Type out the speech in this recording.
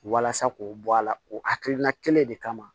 Walasa k'o bɔ a la o hakilina kelen de kama